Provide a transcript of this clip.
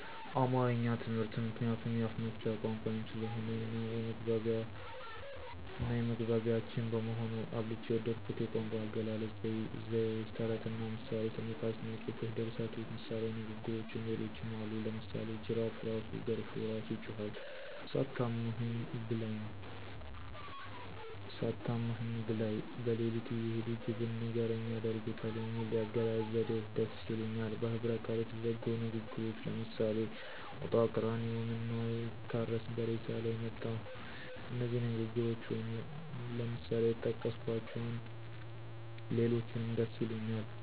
አማረኛ ትምህርትን ምክንያቱም የአፍመፍቻ ቋንቋየም ስለሆነ እናየመግባቢያችን በመሆኑ። አብልጨ የወደድሁት የቋንቋአገላለጽ፣ ዘይዎች፣ ተረትና ምሳሌ፣ ሥነቃል፣ ሥነጽፎች፣ ድርሰቶች፣ ምሣሌዊንግግሮች ሌሎችም አሉ። ለምሳሌ ጅራፍእራሱ ገርፎ እራሱ ይጮሀል፣ ሳታማኸኝ ብላይ። በለሊትእየሄዱ ጅብን ንገርኝ ያደርጉታል የሚሉ የአገላለጽ ዘዴዎች ደስ ይሊኛል። በህብረቃል የተዘጉ ንግግሮች ለምሳሌ ሞጣቀራኒዮ ምነዉአይታረስ በሬሳላይ መጣሁ እነዚህ ንግግሮች ወይም ለምሳሌ የጠቀስኀቸዉና ሌሎችንም ደስይሉኛል።